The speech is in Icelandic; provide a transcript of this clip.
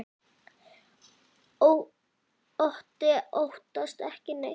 Otti óttast ekki neitt!